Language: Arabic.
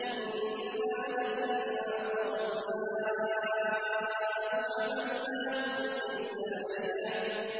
إِنَّا لَمَّا طَغَى الْمَاءُ حَمَلْنَاكُمْ فِي الْجَارِيَةِ